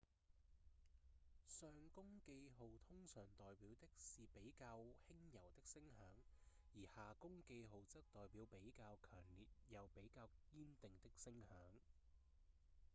上弓記號通常代表的是比較輕柔的聲響而下弓記號則代表比較強烈又比較堅定的聲響